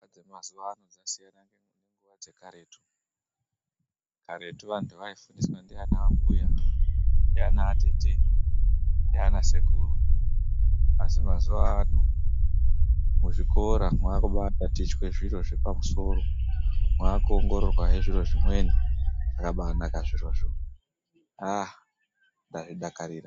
Dzemazuwa ano dzasiyana nenguwa dzekaretu karetu antu aifundiswa ndiana mbuya ndiana tete ndiana sekuru asi mazuwa ano muzvikora mwakubatatichwe zviro zvepamusoro Mwakuongororwa he zviro zvimweni zvakabaa naka zvirozvo aaa ndazvidakarira.